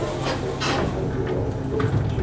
İran neftinin ən böyük alıcısı Çindir.